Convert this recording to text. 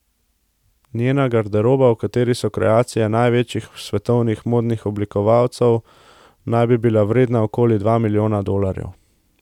Njena garderoba, v kateri so kreacije največjih svetovnih modnih oblikovalcev, naj bi bila vredna okoli dva milijona dolarjev.